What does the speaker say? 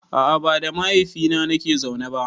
A a ba da mahaifina nake zaune ba.